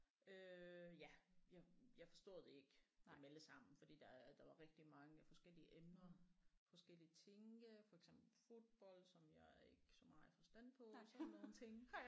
Øh ja jeg jeg forstod det ikke dem alle sammen fordi der er der var rigtig mange forskellige emner forskellige ting øh for eksempel fodbold som jeg ikke så meget forstand på sådan nogle ting